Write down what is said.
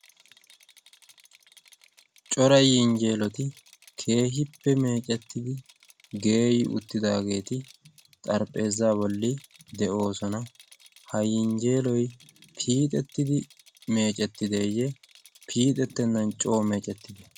Cora yinjjeeloti keehippe meecettidi geeyi uttidaageeti xarphpheezza bolli de'oosona. ha yinjjeeloy piixettidi meecettideeyye piixettennan coo meecettide?